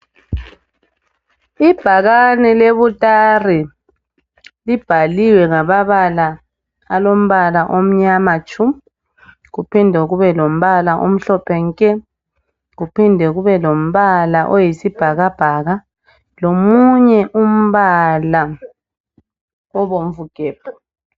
Ibhakane le Butare libhaliwe ngamabala olompala omnyama tshu, kuphinde kube lompala omhlophe nke kuphinde kube lompala oyisibhakabhaka lomunye umpala obomvu gebhu.